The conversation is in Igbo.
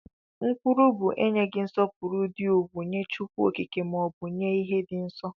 Nkwulu bu enyeghi nsọpụrụ di ukwu nye Chukwu okike ma ọbụ nye ihe di nsọ.